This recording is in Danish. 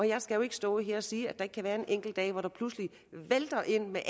jeg skal jo ikke stå her og sige at der ikke kan være en enkelt dag hvor det pludselig vælter ind med